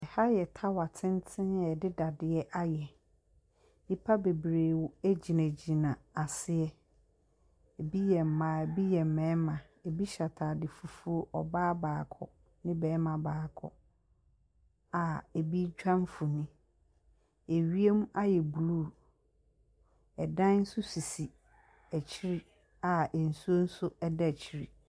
Aha yɛ tower tenten a yɛde dadeɛ ayɛ. Nnipa bebiree gyinagyina aseɛ. Ebi yɛ mmaa ebi yɛ mmarima. Ebi hyɛ ataade fufuo. Ↄbaa baako ne ɔbarima baako a ebi retwa mfonin. Ewiem ayɛ blue. ℇdan nso sisi akyire nsuo nso da akyire.